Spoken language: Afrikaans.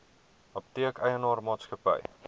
apteek eienaar maatskappy